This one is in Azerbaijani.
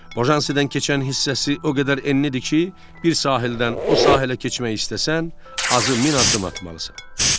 Bojansidən keçən hissəsi o qədər enlidir ki, bir sahildən o sahələ keçmək istəsən, azı 1000 addım atmalısan.